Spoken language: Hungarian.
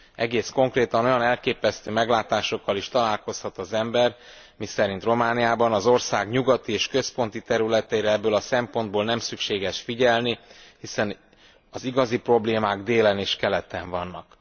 Egészen konkrétan olyan elképesztő meglátásokkal is találkozhat az ember, miszerint Romániában az ország nyugati és központi területeire ebből a szempontból nem szükséges figyelni, hiszen az igazi problémák délen és keleten vannak.